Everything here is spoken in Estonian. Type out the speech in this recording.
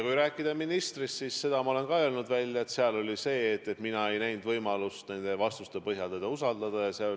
Kui rääkida ministrist, siis ma olen juba välja öelnud, et mina ei näinud tema vastuste põhjal võimalust teda usaldada.